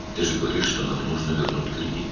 "Sən deyirsən ki, krediti qaytarmalıyıq."